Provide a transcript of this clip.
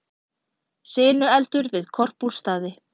Sinueldur við Korpúlfsstaði